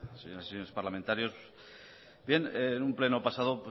señoras y señores parlamentarios bien en un pleno pasado